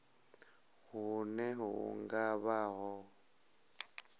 hune hu nga vha ho